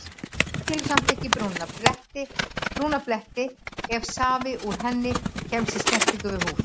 Hún skilur samt eftir brúna bletti ef safi úr henni kemst í snertingu við húð.